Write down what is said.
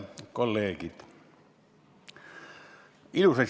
Lugupeetud kolleegid!